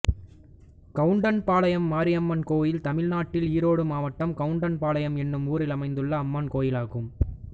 கவுண்டன்பாளையம் மாரியம்மன் கோயில் தமிழ்நாட்டில் ஈரோடு மாவட்டம் கவுண்டன்பாளையம் என்னும் ஊரில் அமைந்துள்ள அம்மன் கோயிலாகும்